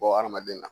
Bɔ hadamaden na